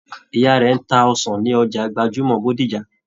Ìyá rẹ n tá ọsàn ní ọjà gbajúmọ̀ Bódìjà.